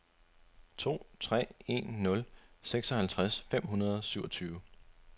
to tre en nul seksoghalvtreds fem hundrede og syvogtyve